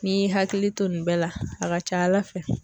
N'i y'i hakili to nin bɛɛ la a ka ca ALA fɛ.